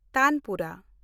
tanpura